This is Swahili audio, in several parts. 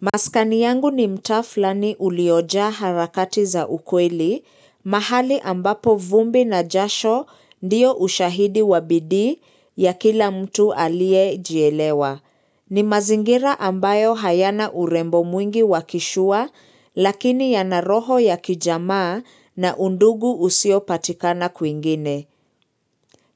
Maskani yangu ni mtaa flani uliojaa harakati za ukweli, mahali ambapo vumbi na jasho ndiyo ushahidi wa bidii ya kila mtu aliyejielewa. Ni mazingira ambayo hayana urembo mwingi wakishua, lakini ya naroho ya kijamaa na undugu usio patikana kuingine.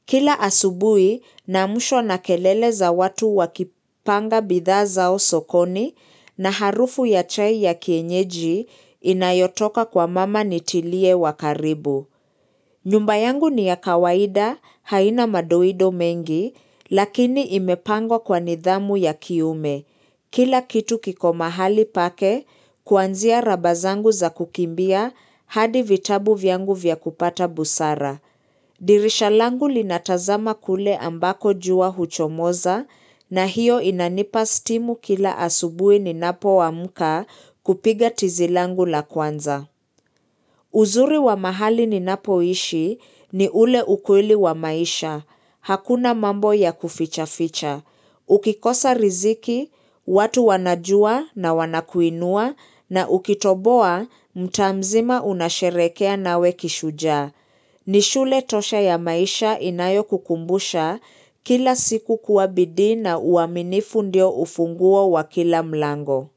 Kila asubui na amshwa na kelele za watu wakipanga bidhaa zao sokoni na harufu ya chai ya kienyeji inayotoka kwa mama nitilie wakaribu. Nyumba yangu ni ya kawaida haina madoido mengi lakini imepangwa kwa nidhamu ya kiume. Kila kitu kiko mahali pake kuanzia raba zangu za kukimbia hadi vitabu vyangu vyakupata busara. Dirisha langu linatazama kule ambako jua huchomoza na hiyo inanipa stimu kila asubui ninapo amka kupiga tizi langu la kwanza. Uzuri wa mahali ninapoishi ni ule ukweli wa maisha. Hakuna mambo ya kuficha ficha. Ukikosa riziki, watu wanajua na wanakuinua na ukitoboa, mtaa mzima unasherekea nawe kishujaa. Nishule tosha ya maisha inayo kukumbusha kila siku kuwa bidii na uaminifu ndio ufunguo wa kila mlango.